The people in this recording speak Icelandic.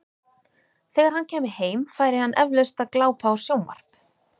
Þegar hann kæmi heim, færi hann eflaust að glápa á sjónvarp.